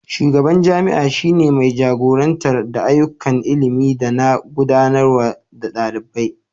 shugaban jami'a shi ne mai jagorantar da ayyukan ilimi da na gudanarwa na dalibai